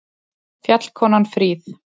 Fjallkonan fríð!